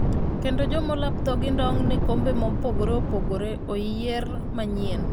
kendo joma olap dhogi ndong' ne kombe mopogore opogore oyier manyien